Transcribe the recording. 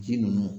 Ji ninnu